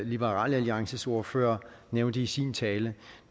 liberal alliances ordfører nævnte i sin tale